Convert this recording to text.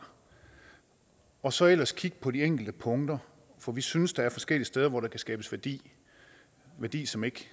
og så ellers kigge på de enkelte punkter for vi synes der er forskellige steder hvor der kan skabes værdi værdi som ikke